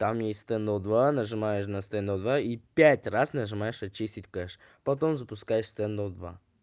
там есть стен ноу два нажимаешь на стен ноу два и пять раз нажимаешь очистить кэш потом запускается стен ноу два